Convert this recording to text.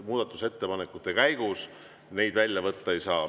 Muudatusettepanekute käigus neid välja võtta ei saa.